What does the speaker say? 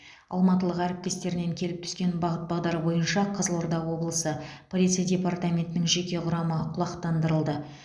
алматылық әріптестерінен келіп түскен бағыт бағдар бойынша қызылорда облысы полиция департаментінің жеке құрамы құлақтандырылды